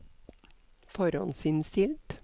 forhåndsinnstilt